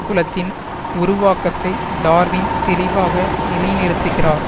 குலத்தின் உருவாக்கத்தை டார்வின் தெளிவாக நிலைநிறுத்துகிறார்